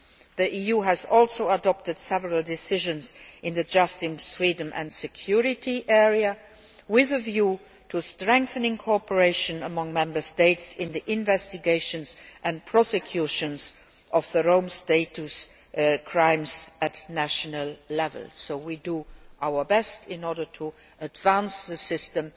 The EU has also adopted several decisions in the justice, freedom and security area with a view to strengthening cooperation among Member States in the investigation and prosecution of Rome Statute crimes at national level, so we do our best in order to advance the system.